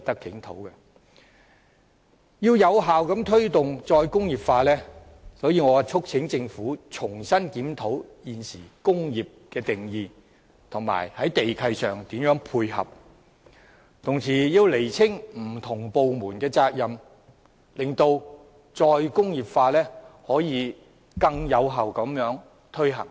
要有效推動"再工業化"，我促請政府重新檢討現行的"工業"定義，並在地契上作出配合，同時亦要釐清不同部門的責任，使"再工業化"可以更有效地推行。